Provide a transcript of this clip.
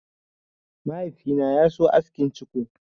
Mahaifi na ya so askin ciko.